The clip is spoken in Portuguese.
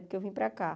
Porque eu vim para cá.